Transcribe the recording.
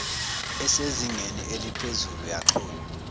esezingeni elephezulu yaxhunwya